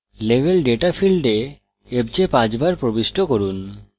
level data ফীল্ডে fj পাঁচবার প্রবিষ্ট করুন